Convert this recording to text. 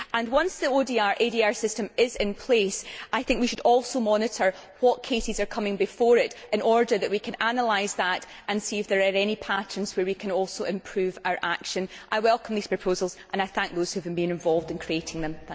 Once the ODR ADR system is in place, I think we should also monitor what cases are coming before it in order that we can analyse that and see if there are any patterns where we can also improve our action. I welcome these proposals and I thank those who have been involved in creating them.